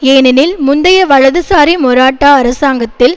ஏனெனில் முந்தைய வலதுசாரி மொராட்டா அரசாங்கத்தில்